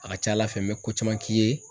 A ka ca Ala fɛ n bɛ ko caman k'i ye